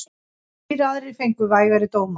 Þrír aðrir fengu vægari dóma.